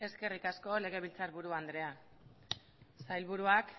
eskerrik asko legebiltzarburu andrea sailburuak